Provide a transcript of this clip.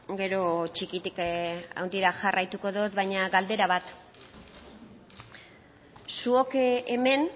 gero txikitik handira jarraituko dut baina galdera bat zuok hemen